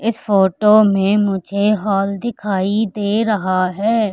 इस फोटो में मुझे हाल दिखाई दे रहा है।